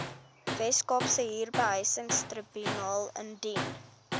weskaapse huurbehuisingstribunaal indien